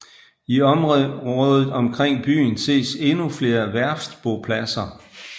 I området omkring byen ses endnu flere værftbopladser